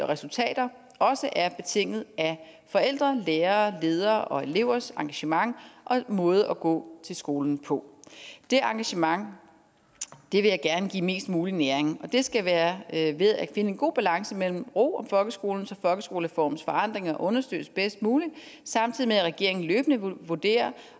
resultater også er betinget af forældre lærere ledere og elevers engagement og måde at gå til skolen på det engagement vil jeg gerne give mest mulig næring og det skal være ved at finde en god balance mellem ro om folkeskolen så folkeskolereformens forandringer understøttes bedst muligt samtidig med at regeringen løbende vurderer